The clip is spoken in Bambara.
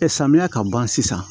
samiya ka ban sisan